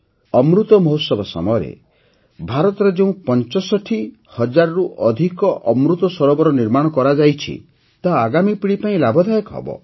ଅମୃତ ମହୋତ୍ସବ ସମୟରେ ଭାରତରେ ଯେଉଁ ୬୫ ହଜାରରୁ ଅଧିକ ଅମୃତ ସରୋବର ନିର୍ମାଣ କରାଯାଇଛି ତାହା ଆଗାମୀ ପିଢ଼ି ପାଇଁ ଲାଭଦାୟକ ହେବ